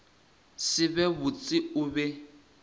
se be botse o be